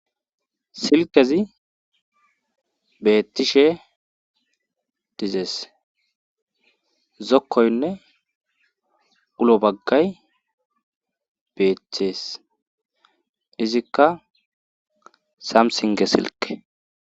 Silkezi beettishe dizees zokkoynne ulo baggay beethcthees izikka samsinge silke.